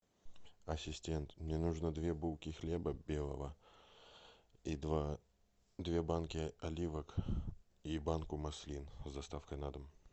ассистент мне нужно две булки хлеба белого и два две банки оливок и банку маслин с доставкой на дом